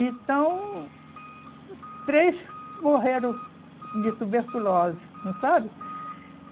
Então, três morreram de tuberculose, não sabe?